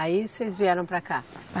Aí vocês vieram para cá?